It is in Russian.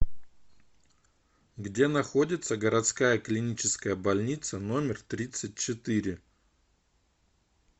где находится городская клиническая больница номер тридцать четыре